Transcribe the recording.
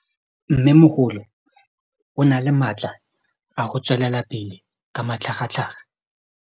Mmêmogolo o na le matla a go tswelela pele ka matlhagatlhaga.